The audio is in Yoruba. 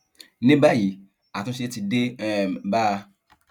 ní báyìí àtúnṣe ti dé um bá a